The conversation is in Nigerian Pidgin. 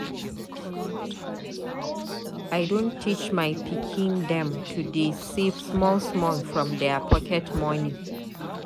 I don teach my pikin dem to dey save small small from their pocket moni.